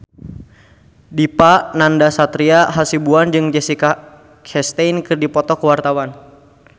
Dipa Nandastyra Hasibuan jeung Jessica Chastain keur dipoto ku wartawan